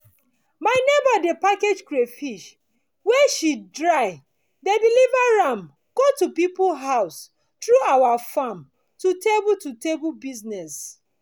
my neighbor dey package catfish wey she dry dey deliver am go the people house through our farm to table to table business